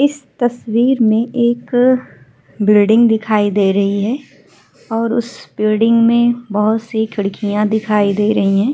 इस तस्वीर में एक बिल्डिंग दिखाई दे रही है और उस बिल्डिंग में बहोत सी खिड़कियाँ दिखाई दे रही हैं।